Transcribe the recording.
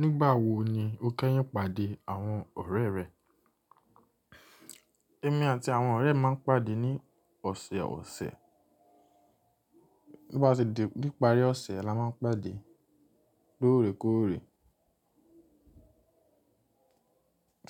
Nígbà wo ni o kẹ́yìn pàdé àwọn ọ̀rẹ́ rẹ? Ẹ̀mí àti àwọn ọ̀rẹ́ mi máa ń pàdé ní ọ̀sẹ̀ ọ̀sẹ̀. To ba ṣe di níparí ọ̀sẹ̀ la máa ń pàdé lóòrèkóòrè.